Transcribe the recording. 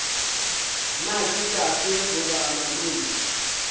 na ke tate goba malome